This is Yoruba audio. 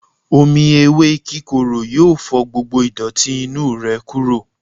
Omí ewe kíkoró yọọ fò gbógbó idoti inu rẹ kuro.